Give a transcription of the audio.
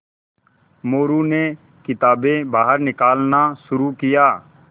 मोरू ने किताबें बाहर निकालना शुरू किया